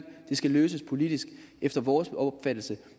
det skal løses politisk efter vores opfattelse